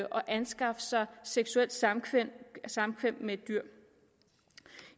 skaffe sig seksuelt samkvem samkvem med et dyr